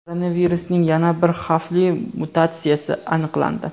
Koronavirusning yana bir xavfli mutatsiyasi aniqlandi.